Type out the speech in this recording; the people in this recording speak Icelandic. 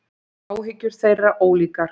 Áhyggjur þeirra ólíkar.